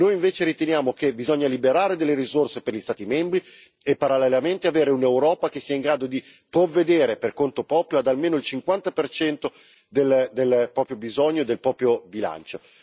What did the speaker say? Noi invece riteniamo che occorra liberare delle risorse per gli Stati membri e, parallelamente, avere un'Europa che sia in grado di provvedere per conto proprio ad almeno il 50 del proprio fabbisogno, del proprio bilancio.